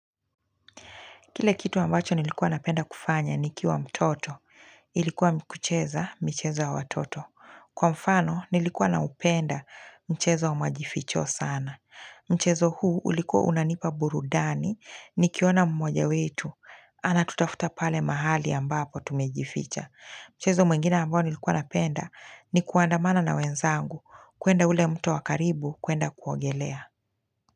Kile kitu ambacho nilikuwa napenda kufanya nikiwa mtoto, ilikuwa kucheza michezo ya watoto. Kwa mfano nilikuwa naupenda mchezo wa majificho sana. Mchezo huu ulikuwa unanipa burudani nikiona mmoja wetu, anatutafuta pale mahali ambapo tumejificha. Mchezo mwengine ambao nilikuwa napenda, ni kuandamana na wenzangu kuenda ule mto wa karibu kuenda kuogelea.